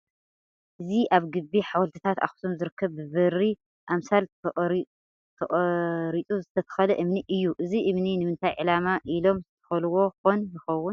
እዚ ኣብ ግቢ ሓወልትታት ኣኽሱም ዝርከብ ብበሪ ኣምሳል ተቐራፁ ዝተተኽለ እምኒ እዩ፡፡ እዚ እምኒ ንምታይ ዕላሚ ኢሎም ዝተኸልዎ ኾን ይኸውን?